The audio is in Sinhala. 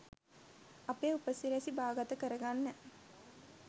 අපේ උපසිරැසි බාගත කරගන්න